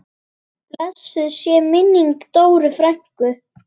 Blessuð sé minning Dóru frænku.